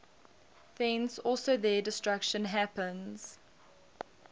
thence also their destruction happens